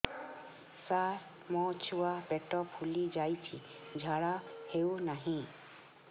ସାର ମୋ ଛୁଆ ପେଟ ଫୁଲି ଯାଉଛି ଝାଡ଼ା ହେଉନାହିଁ